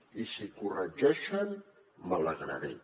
i si corregeixen me n’alegraré